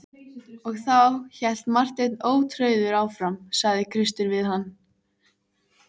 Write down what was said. Og þá, hélt Marteinn ótrauður áfram,-sagði Kristur við hann.